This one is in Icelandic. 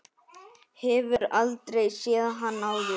Hefur aldrei séð hann áður.